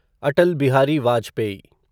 Atal Bihari Vajpayee